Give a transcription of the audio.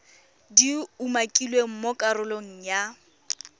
di umakilweng mo karolong ya